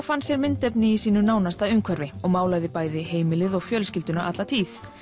fann sér myndefni í sínu nánasta umhverfi og málaði bæði heimilið og fjölskylduna alla tíð